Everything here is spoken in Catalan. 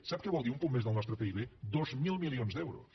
sap què vol dir un punt més del nostre pib dos mil milions d’euros